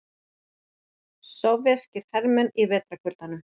Sovéskir hermenn í vetrarkuldanum.